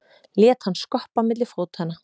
Lét hann skoppa milli fótanna.